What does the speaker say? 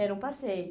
Era um passeio.